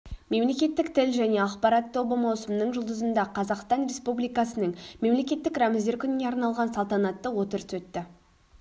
мемлекеттік тіл жәе ақпарат тобы маусымның жұлдызында қазақстан республикасының мемлекеттік рәміздер күніне арналған салтанатты отырыс өтті